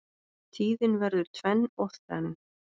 Tíðin verður tvenn og þrenn